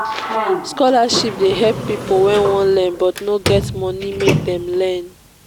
scholarship dey help pipo wey wan learn but no get money make dem learn.